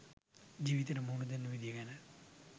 ජීවිතයට මුහුණෙදන විදිය ගැන